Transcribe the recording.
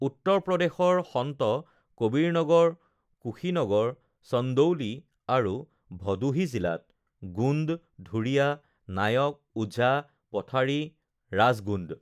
উত্তৰপ্ৰদেশৰ সন্ত কবীৰনগৰ, কুশীনগৰ, চন্দৌলী আৰু ভদোহী জিলাত গোণ্ড, ধুৰিয়া, নায়ক, ওঝা, পঠাৰী, ৰাজগোণ্ড